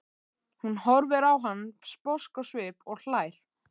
Hún horfir á hann sposk á svip og hlær.